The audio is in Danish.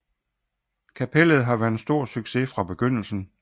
Kapellet har været en stor succes fra begyndelsen